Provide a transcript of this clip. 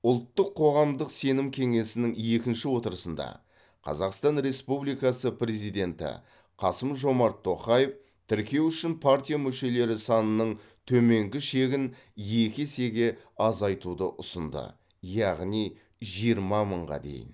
ұлттық қоғамдық сенім кеңесінің екінші отырысында қазақстан республикасы президенті қасым жомарт тоқаев тіркеу үшін партия мүшелері санының төменгі шегін екі есеге азайтуды ұсынды яғни жиырма мыңға дейін